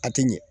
A tɛ ɲɛ